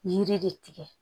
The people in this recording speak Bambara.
Yiri de tigɛ